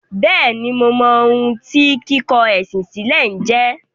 Bẹ́ẹ̀ni, mo mọ ohun tí “ kíkọ ẹ̀sìn sílẹ̀” jẹ́.